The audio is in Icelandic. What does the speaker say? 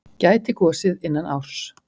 Gæti gosið innan árs